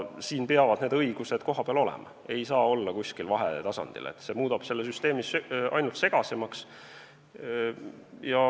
Siin peavad need õigused kohapeal olema, ei saa olla kuskil vahetasandil, see muudab selle süsteemi ainult segasemaks.